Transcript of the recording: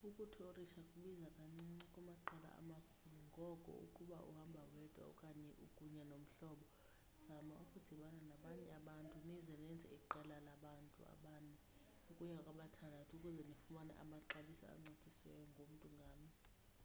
ukuthorisha kubiza kancinci kumaqela amakhulu ngoko ukuba uhamba wedwa okanye ukunye nomhlobo omnye zama ukudibana nabanye abantu nize nenze iqela labantu abane ukuya kwabathandathu ukuze nifumane amaxabiso ancitshisiweyo ngomntu ngamnye